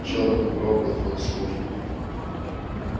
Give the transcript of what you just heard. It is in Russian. черт бы проклял твою службу